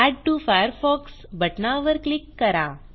add to Firefox बटनावर click करा